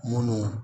Munnu